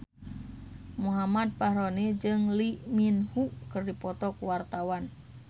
Muhammad Fachroni jeung Lee Min Ho keur dipoto ku wartawan